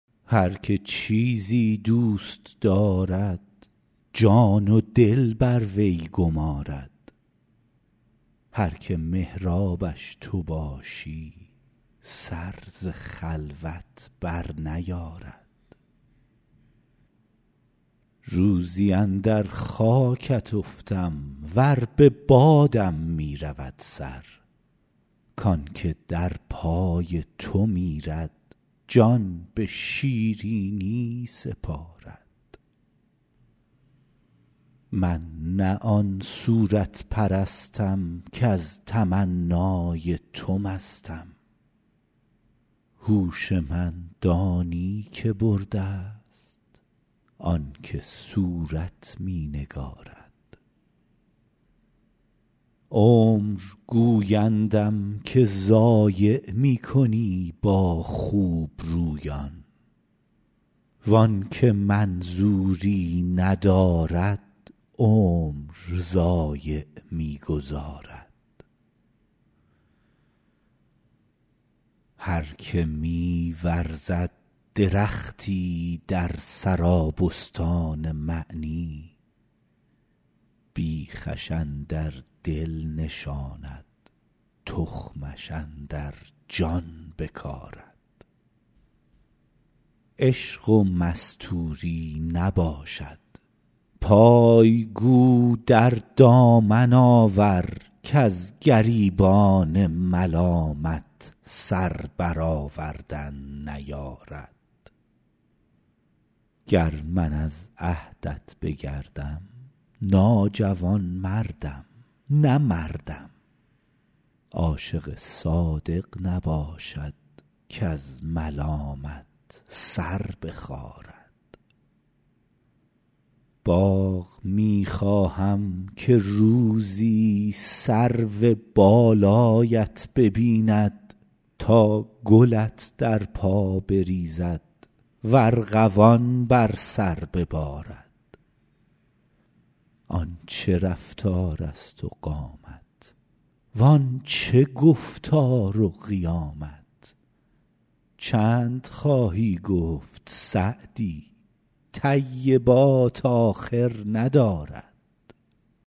هر که چیزی دوست دارد جان و دل بر وی گمارد هر که محرابش تو باشی سر ز خلوت برنیارد روزی اندر خاکت افتم ور به بادم می رود سر کان که در پای تو میرد جان به شیرینی سپارد من نه آن صورت پرستم کز تمنای تو مستم هوش من دانی که برده ست آن که صورت می نگارد عمر گویندم که ضایع می کنی با خوبرویان وان که منظوری ندارد عمر ضایع می گذارد هر که می ورزد درختی در سرابستان معنی بیخش اندر دل نشاند تخمش اندر جان بکارد عشق و مستوری نباشد پای گو در دامن آور کز گریبان ملامت سر برآوردن نیارد گر من از عهدت بگردم ناجوانمردم نه مردم عاشق صادق نباشد کز ملامت سر بخارد باغ می خواهم که روزی سرو بالایت ببیند تا گلت در پا بریزد و ارغوان بر سر ببارد آن چه رفتارست و قامت وان چه گفتار و قیامت چند خواهی گفت سعدی طیبات آخر ندارد